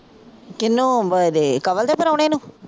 ਕਿਹਨੂੰ ਏਦੇ ਕਮਲ ਦੇ ਪ੍ਰਾਹੁਣੇ ਨੂੰ?